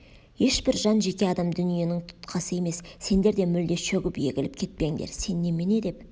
ешбір жан жеке адам дүниенің тұтқасы емес сендер де мүлде шөгіп егіліп кетпеңдер сен немене деп